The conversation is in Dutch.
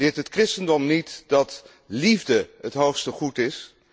Leert het christendom niet dat liefde het hoogste goed is?